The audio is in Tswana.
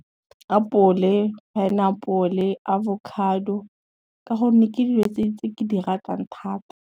Apole, pineapple, avocado, ka gonne ke dilo tse ke di ratang thata.